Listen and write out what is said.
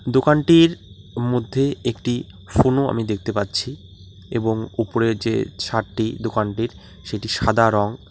দোকানটির মধ্যে একটি ফোনও আমি দেখতে পাচ্ছি এবং উপরে ছাদটি দোকানটির সেটা সাদা রং।